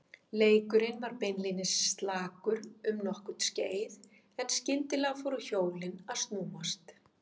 Leikurinn var beinlínis slakur um nokkurt skeið en skyndilega fóru hjólin að snúast.